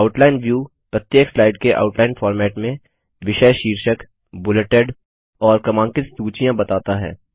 outline view प्रत्येक slide के outline format में विषय शीर्षक बुलेटेड और क्रमांकित सूचियाँ बताता है